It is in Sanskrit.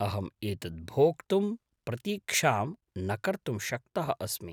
अहं एतत् भोक्तुं प्रतीक्षां न कर्तुं शक्तः अस्मि।